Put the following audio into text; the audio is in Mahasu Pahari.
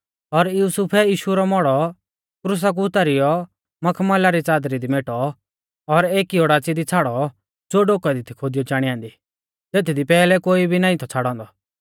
और युसुफै यीशु रौ मौड़ौ क्रुसा कु उतारीयौ मखमला री च़ादरी दी मेटौ और एकी ओडाच़ी दी छ़ाड़ौ ज़ो डोकै दी थी खोदियौ चाणी ऐन्दी तेथदी पैहलै कोई भी नाईं थौ छ़ाड़ौ औन्दौ